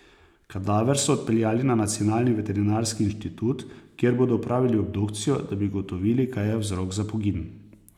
Kadaver so odpeljali na Nacionalni veterinarski inštitut, kjer bodo opravili obdukcijo, da bi ugotovili, kaj je vzrok za pogin.